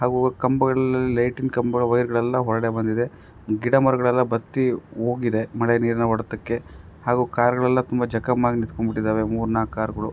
ಹಾಗೂ ಕಂಬಗಳು ಲೈಟಿನ ಕಂಬಗಳೆಲ್ಲ ವಯರ್ ಗಳೆಲ್ಲ ಹೊರಗಡೆ ಬಂದಿದೆ ಗಿಡ ಮರಗಳೆಲ್ಲ ಬತ್ತಿ ಹೋಗಿದೆ ಮಳೆ ನೀರಿನ ಒಡೆತಕ್ಕೆ ಹಾಗೂ ಕಾರ್ ಗಳೆಲ್ಲ ತುಂಬಾ ಚಕ್ಕಂ ಆಗಿ ನಿಂತ್ಕೋ ಬಿಟ್ಟಿದ್ದಾವೆ ಮೂರು ನಾಲ್ಕು ಕಾರ್ ಗಳು.